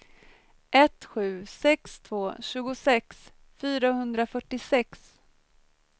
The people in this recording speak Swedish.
ett sju sex två tjugosex fyrahundrafyrtiosex